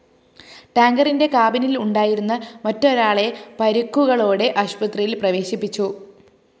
ടാങ്കറിന്റെ കാബിനില്‍ ഉണ്ടായിരുന്ന മറ്റൊരാളെ പരുക്കുകളോടെ ആശുപത്രിയില്‍ പ്രവേശിപ്പിച്ചു